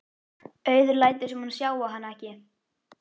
Auður lætur sem hún sjái hana ekki.